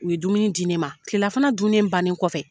U ye dumuni di ne ma, kilelafana dunnen bannen kɔfɛ